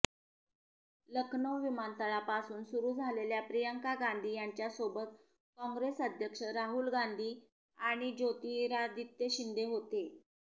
लखनौ विमानतळापासून सुरू झालेल्या प्रियंका गांधी यांच्यासोबत काँग्रेस अध्यक्ष राहुल गांधी आणि ज्योतिरादित्य शिंदे होते